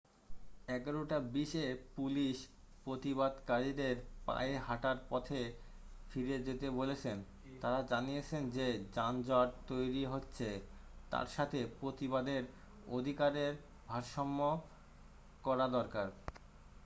11:20 এ পুলিশ প্রতিবাদকারীদের পায়ে হাটার পথে ফিরে যেতে বলেছেন তারা জানিয়েছেন যে যানজট তৈরী হচ্ছে তার সাথে প্রতিবাদের অধিকারের ভারসাম্য করা দরকার